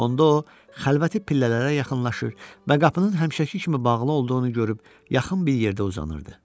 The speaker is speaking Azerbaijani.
Onda o xəlvəti pillələrə yaxınlaşır və qapının həmişəki kimi bağlı olduğunu görüb, yaxın bir yerdə uzanırdı.